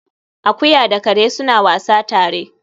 Akuya da kare suna wasa tare